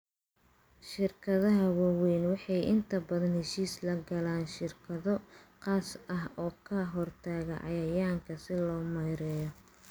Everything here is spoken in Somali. Shirkadaha waaweyni waxay inta badan heshiis la galaan shirkado khaas ah oo ka hortaga cayayaanka si loo maareeyo.